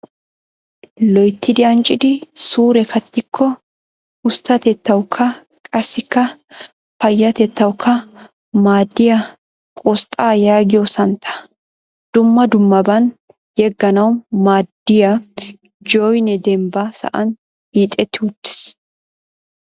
Loyittidi anccidi suure kattikko usttatettawukka qassikka payyatettawukka maadiiyaa qosxxa yaagiyo santtaa. Dumma dummaban yegganawu maaddiyaa joyinee dembba sa"an hiixetti uttiis.